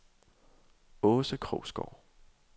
Aase Krogsgaard